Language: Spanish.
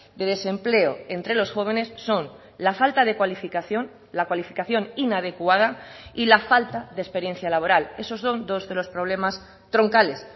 de desempleo entre los jóvenes son la falta de cualificación la cualificación inadecuada y la falta de experiencia laboral esos son dos de los problemas troncales